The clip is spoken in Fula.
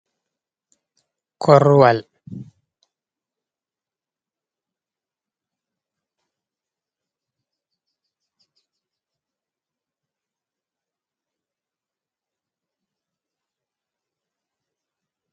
Korruwal kucin gootal ɗo jooɗi haa leddi. Ɓanndu maagal ɗo suddi be yaadi kala ndiiyam leddi, be kala henre haa yeeso maagal. Ɗon derekeejo jooɗi ɓaawo maagal malla kaafinta on. Woodi koromje ɗe pi'aama be kataakooje ammaa ɗe ngatanaaka yadiiji. Ɗon ferem winndoji be teburji ɗi pi'aaka.